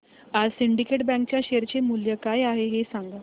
आज syndicate bank च्या share चे मूल्य काय आहे हे सांगा